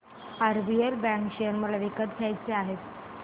RBL bank share मला विकत घ्यायचे आहेत